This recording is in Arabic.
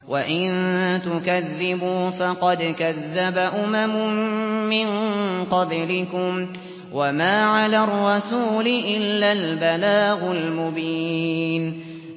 وَإِن تُكَذِّبُوا فَقَدْ كَذَّبَ أُمَمٌ مِّن قَبْلِكُمْ ۖ وَمَا عَلَى الرَّسُولِ إِلَّا الْبَلَاغُ الْمُبِينُ